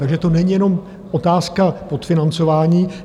Takže to není jenom otázka podfinancování.